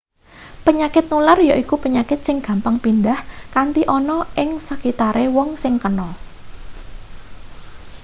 penyakit nular yaiku penyakit sing gampang pindhah kanthi ana ing sekitare wong sing kena